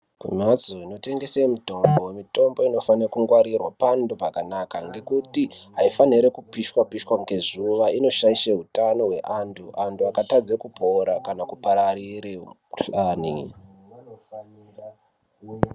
Kumhatso inotengese mitombo, mitombo inofane kungwarirwa pantu pakanaka ngekuti aifanirwi kupishwa pishwa ngezuwa inoshaishe utano hweantu antu akatadze kupora kana kupararire mikuhlani.